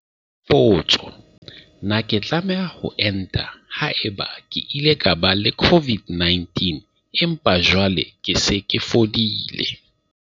Potso- Na ke tlameha ho enta haeba ke ile ka ba le COVID-19 empa jwale ke se ke fodile?